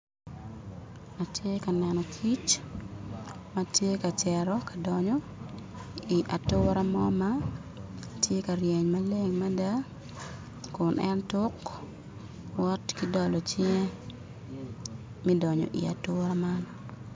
Atye ka neno kic ma tye ka cito ka donyo i atura mo ma tye ka ryeny maleng mada kun en tuk wot ki dolo cinge mi donyo i atura man